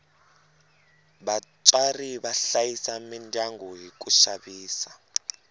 vatswari va hlayisa midyangu hi ku xavisa